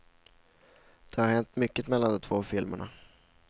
Det har hänt mycket mellan de två filmerna.